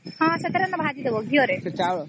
ହଁ ସେଥିରେ ଭାଜି ଦବ ଘିଅ ରେ